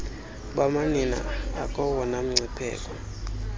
bamanina akowona mngcipheko